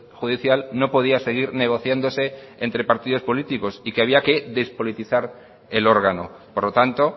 judicial no podía seguir negociándose entre partidos políticos y que había que despolitizar el órgano por lo tanto